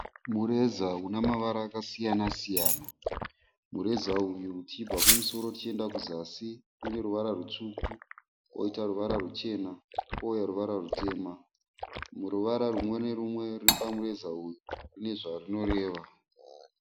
Mureza una mavara akasiyana siyana. Mureza uyu tichibva kumusoro tichienda kuzasi une ruvara rutsvuku woita ruvara ruchena kouya ruvara rutema. Rumwe ruvara rumwe norumwe ruri pamureza uyu rune zvarunoreva.